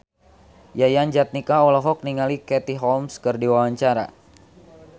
Yayan Jatnika olohok ningali Katie Holmes keur diwawancara